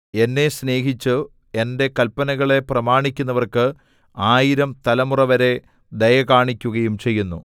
എന്നെ സ്നേഹിച്ചു എന്റെ കല്പനകളെ പ്രമാണിക്കുന്നവർക്ക് ആയിരം തലമുറവരെ ദയ കാണിക്കുകയും ചെയ്യുന്നു